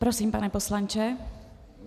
Prosím, pane poslanče.